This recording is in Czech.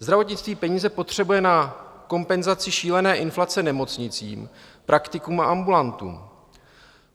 Zdravotnictví peníze potřebuje na kompenzaci šílené inflace nemocnicím, praktikům a ambulantům.